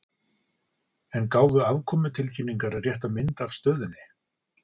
En gáfu afkomutilkynningar rétta mynd af stöðunni?